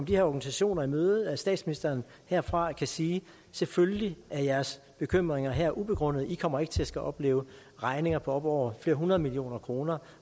her organisationer i møde nemlig at statsministeren herfra kan sige selvfølgelig er jeres bekymring her ubegrundet i kommer ikke til at skulle opleve regninger på op over flere hundrede millioner kroner